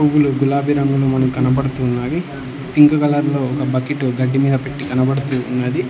పూలు గులాబీ రంగులో మనం కనబడుతున్నావి పింక్ కలర్ లో ఒక బకెట్టు గడ్డి మీద పెట్టి కనపడుతూ ఉన్నది.